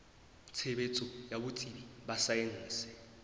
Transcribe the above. tshebetso ya botsebi ba saense